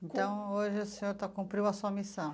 Então, hoje o senhor está cumpriu a sua missão.